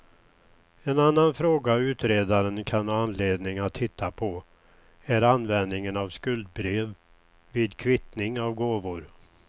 En annan fråga utredaren kan ha anledning att titta på är användningen av skuldebrev vid kvittning av gåvor.